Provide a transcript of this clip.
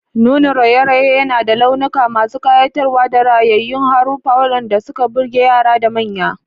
Nunin raye-rayen yana da launuka masu kayatarwa da rayayyun haruffa waɗanda suka burge yara da manya.